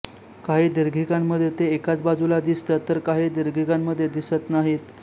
काही दीर्घिकांमध्ये ते एकाच बाजूला दिसतात तर काही दीर्घिकांमध्ये दिसत नाहीत